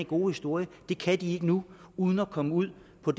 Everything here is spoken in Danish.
gode historie det kan de ikke nu uden at komme ud på